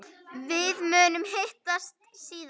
Við munum hittast síðar.